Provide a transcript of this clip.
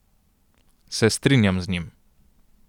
Se strinjam z njim.